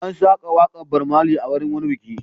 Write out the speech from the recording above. An saka waƙar Bob Marley a wurin wani biki.